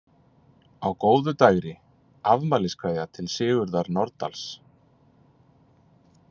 , Á góðu dægri: Afmæliskveðja til Sigurðar Nordals.